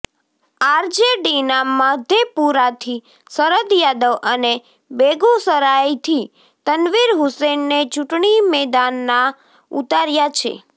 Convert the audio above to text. આરજેડીના મધેપુરાથી શરદ યાદવ અને બેગુસરાયથી તનવીર હુસેનને ચૂંટણી મેદાનમાં ઉતાર્યા છે